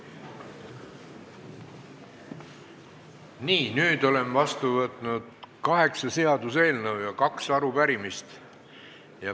Nii, nüüd olen vastu võtnud kaheksa seaduseelnõu ja kaks arupärimist.